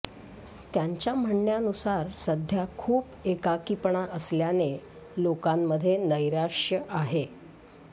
त्यांच्या म्हणण्यानुसार सध्या खूप एकाकीपणा असल्याने लोकांमध्ये नैराश्य आहे